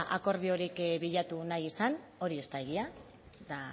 akordiorik bilatu nahi izan hori ez da egia eta